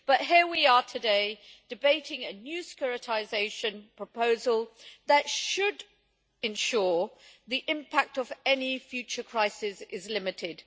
But here we are today debating a new securitisation proposal that should ensure the impact of any future crisis is limited.